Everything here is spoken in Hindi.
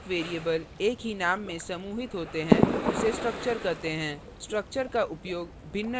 जब एक और एक से अधिक variables एक ही name में समूहित होते हैं उसे structure कहते हैं